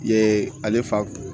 Yee ale fa